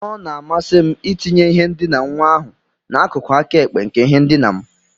Ọ na-amasị m itinye ihe ndina nwa ahụ n'akụkụ aka ekpe nke ihe ndina m.